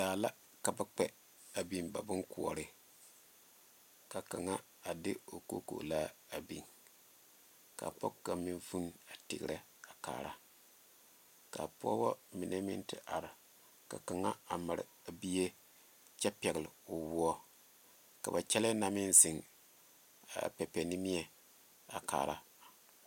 Daa la ka ba kpɛ a biŋ ba bonkoɔrɔ ka kaŋa a de o kokolaa a biŋ ka pɔge kaŋa meŋ vuune a tegre a kaara kaa Pɔgeba mine meŋ are ka kaŋa a mare a bie kyɛ pegle woɔ ka ba kyɛle na meŋ zeŋ a pɛpɛnimie a kaara.